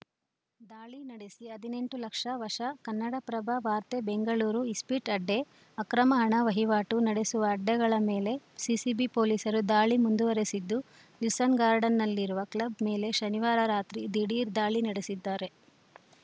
ದಾಳಿ ನಡೆಸಿ ಹದಿನೆಂಟು ಲಕ್ಷ ವಶ ಕನ್ನಡಪ್ರಭ ವಾರ್ತೆ ಬೆಂಗಳೂರು ಇಸ್ಪೀಟ್‌ ಅಡ್ಡೆ ಅಕ್ರಮ ಹಣ ವಹಿವಾಟು ನಡೆಸುವ ಅಡ್ಡೆಗಳ ಮೇಲೆ ಸಿಸಿಬಿ ಪೊಲೀಸರು ದಾಳಿ ಮುಂದುವರೆಸಿದ್ದು ವಿಲ್ಸನ್‌ ಗಾರ್ಡನ್‌ನಲ್ಲಿರುವ ಕ್ಲಬ್‌ ಮೇಲೆ ಶನಿವಾರ ರಾತ್ರಿ ದಿಢೀರ್‌ ದಾಳಿ ನಡೆಸಿದ್ದಾರೆ